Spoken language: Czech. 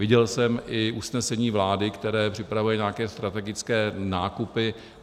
Viděl jsem i usnesení vlády, které připravuje nějaké strategické nákupy.